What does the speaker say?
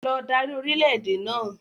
Lọ dárí orìlẹ̀ èdè náà!